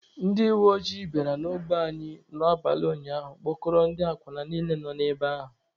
Ndị uweojii bịara n'ogbe anyị n'abalị ụnyaahụ kpụkọrọ ndị akwụna niile nọ ebe ahụ